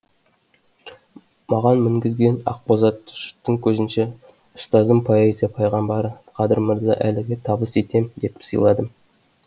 маған мінгізген ақбозатты жұрттың көзінше ұстазым поэзия пайғамбары қадыр мырза әліге табыс етем деп сыйладым